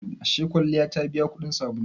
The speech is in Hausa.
Ashe kwalliya ta biya kudin sabulu?